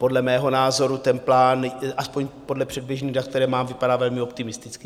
Podle mého názoru ten plán, aspoň podle předběžných dat, která mám, vypadá velmi optimisticky.